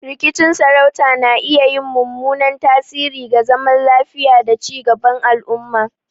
Rikicin sarauta na iya yin mummunan tasiri ga zaman lafiya da ci gaban al'umma.